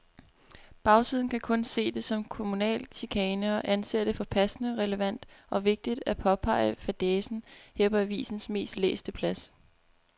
Bagsiden kan kun se det som kommunal chikane og anser det for passende, relevant og vigtigt at påpege fadæsen her på avisens mest læste plads.